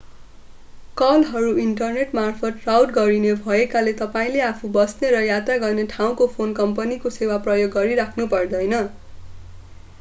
कलहरू इन्टरनेटमार्फत राउट गरिने भएकाले तपाईंले आफू बस्ने र यात्रा गर्ने ठाउँको फोन कम्पनीको सेवा प्रयोग गरिराख्नु पर्दैन